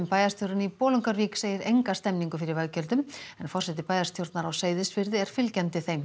bæjarstjórinn í Bolungarvík segir enga stemningu fyrir veggjöldum en forseti bæjarstjórnar á Seyðisfirði er fylgjandi þeim